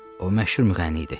O məşhur müğənni idi.